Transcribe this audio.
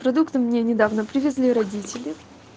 продукты мне недавно привезли родители